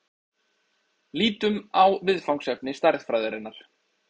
Lítum á viðfangsefni stærðfræðinnar.